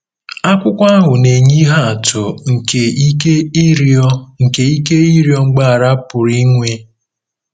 Akwụkwọ ahụ na-enye ihe atụ nke ike ịrịọ nke ike ịrịọ mgbaghara pụrụ inwe.